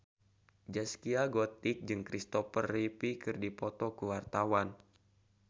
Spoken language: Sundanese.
Zaskia Gotik jeung Christopher Reeve keur dipoto ku wartawan